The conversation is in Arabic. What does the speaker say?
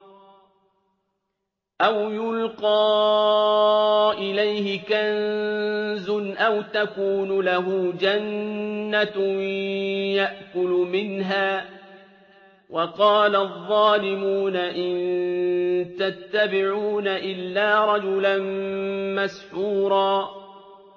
أَوْ يُلْقَىٰ إِلَيْهِ كَنزٌ أَوْ تَكُونُ لَهُ جَنَّةٌ يَأْكُلُ مِنْهَا ۚ وَقَالَ الظَّالِمُونَ إِن تَتَّبِعُونَ إِلَّا رَجُلًا مَّسْحُورًا